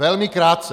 Velmi krátce!